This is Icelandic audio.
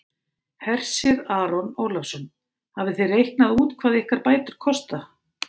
Hersir Aron Ólafsson: Hafið þið reiknað út hvað ykkar bætur kosta?